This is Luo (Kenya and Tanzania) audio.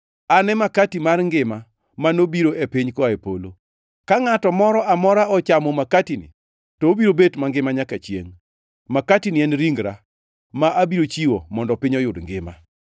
An e makati mar ngima ma nobiro e piny koa e polo. Ka ngʼato moro amora ochamo makatini, to obiro bet mangima nyaka chiengʼ. Makatini en ringra, ma abiro chiwo mondo piny oyud ngima.”